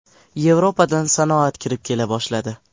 Yevropadan sanoat kirib kela boshladi.